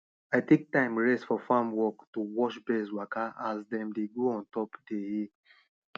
i take time rest for farm work to watch birds waka as dem dey go ontop dey hills